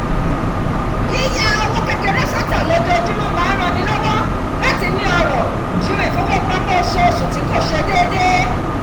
yíya owó kékeré sọ́tọ̀ lójoojúmọ̀ máa ń ran ni lọ́wọ́ láti ni ọrọ̀ ju ifowópamọ́ oṣooṣù tí kò ṣe déédéé